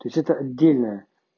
то есть это дельная